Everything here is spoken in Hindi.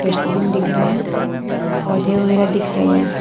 डस्टबिन दिख रहे है पौधे वगैरा दिख रहे हैं।